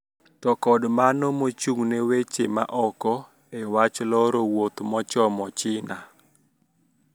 To kod mano mochung` ne weche Ma oko e wach loro wuoth mochomo China